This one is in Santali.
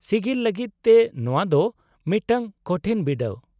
-ᱥᱤᱜᱤᱞ ᱞᱟᱹᱜᱤᱫ ᱛᱮ ᱱᱚᱶᱟ ᱫᱚ ᱢᱤᱫᱴᱟᱝ ᱠᱚᱴᱷᱤᱱ ᱵᱤᱰᱟᱹᱣ ᱾